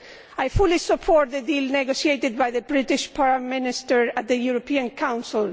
I fully support the deal negotiated by the British Prime Minister at the European Council.